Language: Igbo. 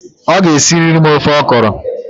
Ị ga-esirili m ofe ọkọrọ!